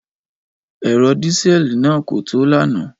Ẹ̀rọ dísẹ́ẹ̀lì náà kò tó lánàá.